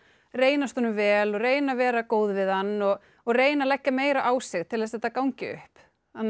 reynast honum vel og reyna að vera góð við hann og og reyna að leggja meira á sig til að þetta gangi upp